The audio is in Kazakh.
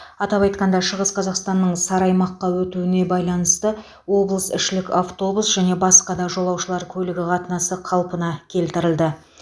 атап айтқанда шығыс қазақстанның сары аймаққа өтуіне байланысты облысішілік автобус және басқа да жолаушылар көлігі қатынасы қалпына келтірілді